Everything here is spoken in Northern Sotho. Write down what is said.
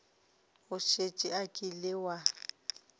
o šetše o kile wa